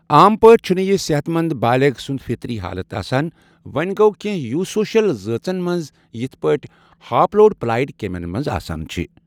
عام پٲٹھۍ چَھنہ یہ صحت منٛد بالِغ سُنٛد فطری حالت آسان، وۄں گوٚو کٮ۪نہہ یوسوشل ذٲژن منٛز، یٔتھ پٲٹھۍ ہاپلوڈپلایڈ کیمین منٛز آسان چھِ